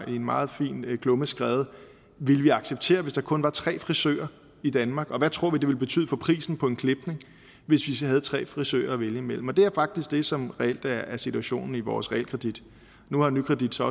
en meget fin klumme skrevet ville vi acceptere hvis der kun var tre frisører i danmark og hvad tror vi det ville betyde for prisen på en klipning hvis vi havde tre frisører at vælge mellem det er faktisk det som reelt er situationen vores realkredit nu har nykredit så